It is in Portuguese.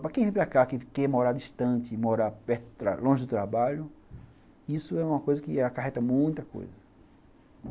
Para quem vem para cá, para quem quer morar distante, morar longe do trabalho, isso é uma coisa que acarreta muita coisa.